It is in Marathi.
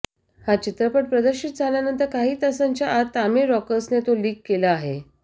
हा चित्रपट प्रदर्शित झाल्यानंतर काही तासांच्या आत तमिळ रॉकर्सने तो लीक केला आहे